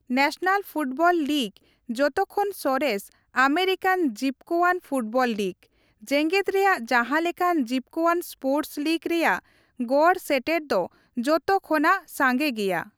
National football league, ᱡᱚᱛᱚ ᱠᱷᱚᱱ ᱥᱚᱨᱮᱥ ᱟᱢᱮᱨᱤᱠᱟᱱ ᱡᱤᱯᱠᱟᱹᱣᱟᱱ ᱯᱷᱩᱴᱵᱚᱞ ᱞᱤᱜᱽ, ᱡᱮᱜᱮᱫ ᱨᱮᱭᱟᱜ ᱡᱟᱦᱟᱸ ᱞᱮᱠᱟᱱ ᱡᱤᱯᱠᱟᱹᱣᱟᱱ ᱥᱯᱳᱨᱴᱥ ᱞᱤᱜᱽ ᱨᱮᱭᱟᱜ ᱜᱚᱲ ᱥᱮᱴᱮᱨ ᱫᱚ ᱡᱚᱛᱚ ᱠᱷᱚᱱᱟᱜ ᱥᱟᱸᱜᱮ ᱜᱮᱭᱟ ᱾